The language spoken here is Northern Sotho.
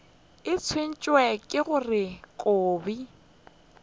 ke tshwenywa ke gore kobi